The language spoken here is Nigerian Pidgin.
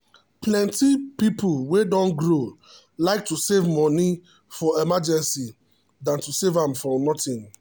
plenty people wey don grow like to save money for emergency than to save am for nothing.